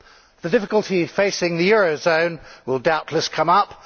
The difficulty facing the eurozone will doubtless come up.